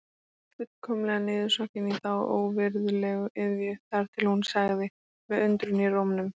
Fullkomlega niðursokkin í þá óvirðulegu iðju þar til hún sagði með undrun í rómnum